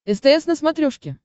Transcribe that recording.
стс на смотрешке